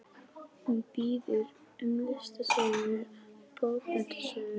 Hún biður um listasögu og bókmenntasögu.